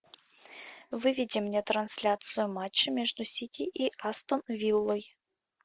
выведи мне трансляцию матча между сити и астон виллой